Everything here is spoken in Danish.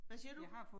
Hvad siger du?